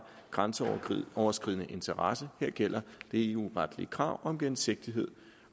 grænseoverskridende interesse her gælder det eu retlige krav om gennemsigtighed